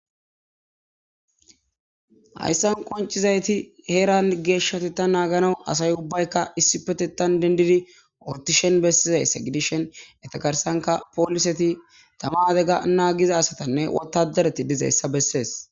Hayssan qoncizayti heeran geeshshati ta naagana asay ubbaykka issi petetan dendidi ortishen bessizayssa gidishen etakarsanka pooliseti tama adega naagiza asatanne wotadereti dizayssa bessees.